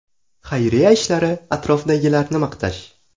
Xayriya ishlari, atrofdagilarni maqtash.